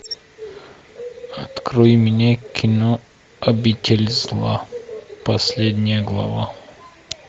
открой мне кино обитель зла последняя глава